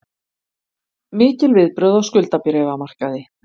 Mikil viðbrögð á skuldabréfamarkaði